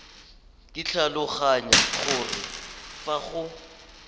ke tlhaloganya gore fa go